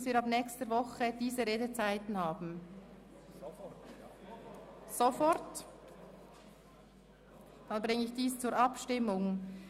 – Wenn die geänderte Debattenform sofort gelten soll, dann bringe ich dies zur Abstimmung.